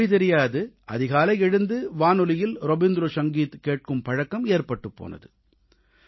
மொழி தெரியாது அதிகாலை எழுந்து வானொலியில் ரவீந்திர சங்கீத் கேட்கும் பழக்கம் ஏற்பட்டுப் போனது